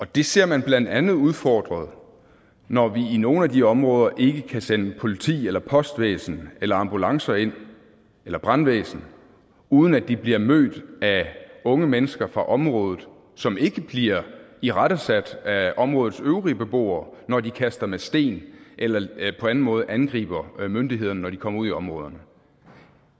det ser man blandt andet udfordret når vi i nogle af de områder ikke kan sende politi eller postvæsen eller ambulancer eller brandvæsen ind uden at de bliver mødt af unge mennesker fra området som ikke bliver irettesat af områdets øvrige beboere når de kaster med sten eller på anden måde angriber myndighederne når de kommer ud i områderne